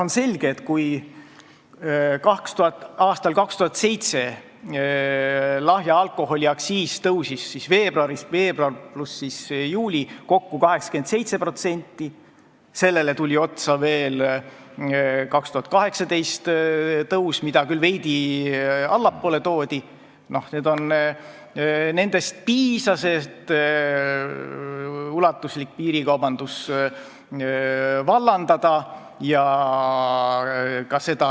On selge, et kui aastal 2017 lahja alkoholi aktsiis tõusis kokku 87%, sellele tuli otsa veel 2018. aasta tõus, mida küll veidi allapoole toodi, siis sellest piisas, et ulatuslik piirikaubandus vallandada.